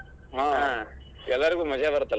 ಎಲ್ಲಾರಿಗೂ ಮಜಾ ಬರುತ್ತಲಾ.